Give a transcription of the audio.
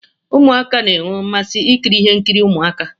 Ụmụaka na enwe mmasị ikiri ihe nkiri Ụmụaka.